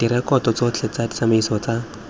direkoto tsotlhe tsa ditsamaiso tsa